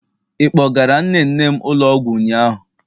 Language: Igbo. Ị kpọgara nne nne m ụlọ ọgwụ ụnyaahụ?